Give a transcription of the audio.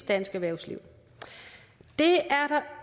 dansk erhvervsliv det